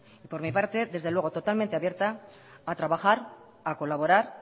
y por mi parte desde luego totalmente abierta a trabajar a colaborar